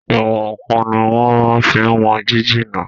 Ìwọ̀n-ǹkan ní wọ́n máa n fi wọn jíjìnà